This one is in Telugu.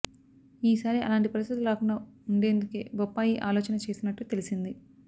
ఈ సారి అలాంటి పరిస్థితులు రాకుండా ఉండేందుకే బొప్పాయి ఆలోచన చేసినట్టు తెలిసింది